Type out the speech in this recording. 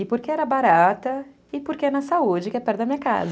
E porque era barata e porque é na saúde, que é perto da minha casa.